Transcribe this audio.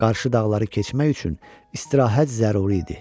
Qarşı dağları keçmək üçün istirahət zəruri idi.